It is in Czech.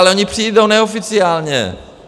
Ale oni přijdou neoficiálně.